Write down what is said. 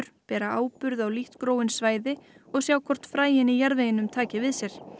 bera áburð á lítt gróin svæði og sjá hvort fræin í jarðveginum taki við sér